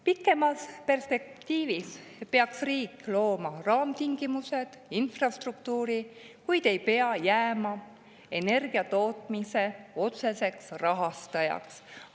Pikemas perspektiivis peaks riik looma raamtingimused ja infrastruktuuri, kuid ei pea jääma energia tootmise otseseks rahastajaks.